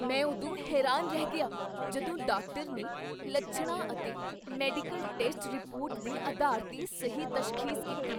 ਮੈਂ ਉਦੋਂ ਹੈਰਾਨ ਰਹਿ ਗਿਆ ਜਦੋਂ ਡਾਕਟਰ ਨੇ ਲੱਛਣਾਂ ਅਤੇ ਮੈਡੀਕਲ ਟੈਸਟ ਰਿਪੋਰਟ ਦੇ ਅਧਾਰ 'ਤੇ ਸਹੀ ਤਸ਼ਖ਼ੀਸ ਕੀਤੀ!